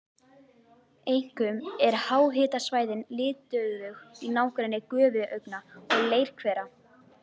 Einkum eru háhitasvæðin litauðug í nágrenni gufuaugna og leirhvera.